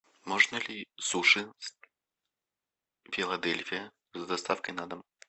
можно ли суши филадельфия с доставкой на дом